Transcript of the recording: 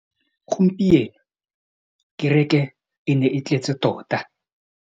Gompieno kêrêkê e ne e tletse tota.